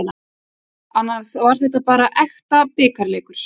Annars var þetta var bara ekta bikarleikur.